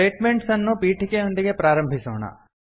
statements ಅನ್ನು ಪೀಠಿಕೆಯೊಂದಿಗೆ ಪ್ರಾರಂಭಿಸೋಣ